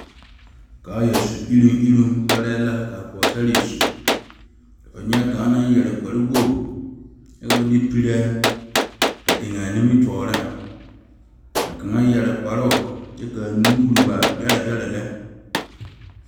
Kaaya su eri eri pare la kaa pɔgesera su ka fo nyɛ kaŋ naŋ yeere kpare wogi kyɛ ka ba de pira a eŋ a nimitɔɔre ka kaŋa yeere kparo kaa nuure waa bɛre bɛre lɛ.